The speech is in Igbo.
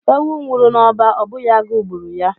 Ewu nwuru n’ọba Ọ bụghị agụụ gburu ya